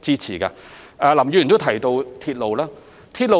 此外，林議員提到鐵路事宜。